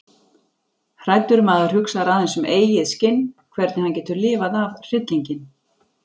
Hræddur maður hugsar aðeins um eigið skinn, hvernig hann getur lifað af hryllinginn.